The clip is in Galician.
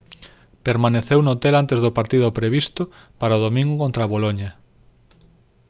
permaneceu no hotel antes do partido previsto para o domingo contra boloña